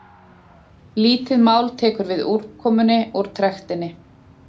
lítið mál tekur við úrkomunni úr trektinni